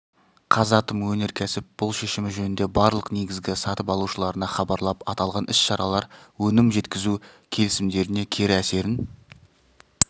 қазатом өнеркәсіп бұл шешімі жөнінде барлық негізгі сатып алушыларына хабарлап аталған іс-шаралар өнім жеткізу келісімдеріне кері әсерін